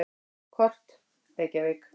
Kort: Reykjavík.